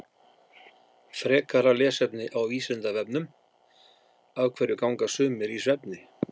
Frekara lesefni á Vísindavefnum Af hverju ganga sumir í svefni?